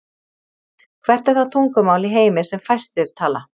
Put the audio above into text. Hvert er það tungumál í heimi sem fæstir tala?